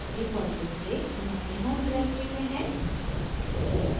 default रूप से home अपनी home directory में हैं